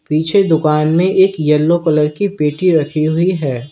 पीछे दुकान में एक येलो कलर की पेटी रखी हुई है।